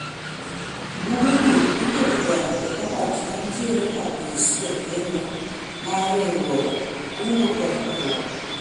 buge gi iketo ga e kabat mantiere e apis jakeno mar riwruog kungo kod hola